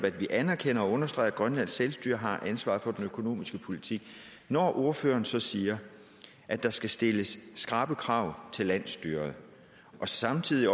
anerkender og understreger at grønlands selvstyre har ansvaret for den økonomiske politik når ordføreren så siger at der skal stilles skrappe krav til landsstyret og samtidig